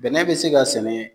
Bɛnɛ bɛ se ka sɛnɛ